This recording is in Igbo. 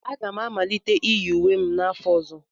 Aga m amalite iyi uwe m n'afọ ọzọ.